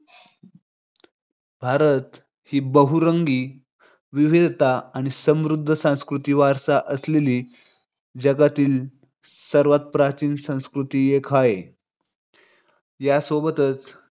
भारत ही बहुरंगी विविधता आणि समृद्ध सांस्कृतिक वारसा असलेली जगातील सर्वात प्राचीन संस्कृतींपैकी एक हाय. या सोबतच